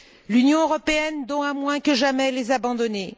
L'Union européenne doit moins que jamais les abandonner.